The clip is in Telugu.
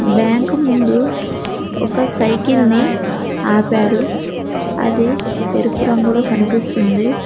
బ్యాంక్ ముందు ఒక సైకిల్ ని ఆపారు అది ఎరుపు రంగులో కనిపిస్తుంది.